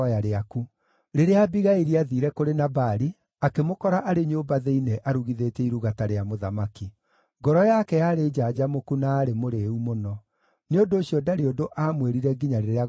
Rĩrĩa Abigaili aathiire kũrĩ Nabali, akĩmũkora arĩ nyũmba thĩinĩ arugithĩtie iruga ta rĩa mũthamaki. Ngoro yake yarĩ njanjamũku na aarĩ mũrĩĩu mũno. Nĩ ũndũ ũcio ndarĩ ũndũ aamwĩrire nginya rĩrĩa gwakĩire.